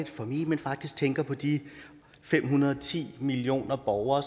for me men faktisk tænker på de fem hundrede og ti millioner borgere